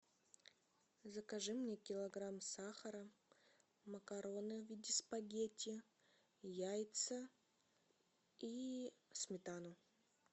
закажи мне килограмм сахара макароны в виде спагетти яйца и сметану